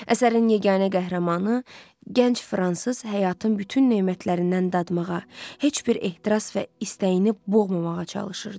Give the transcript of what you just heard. Əsərin yeganə qəhrəmanı, gənc fransız həyatın bütün nemətlərindən dadmağa, heç bir ehtiras və istəyini boğmamağa çalışırdı.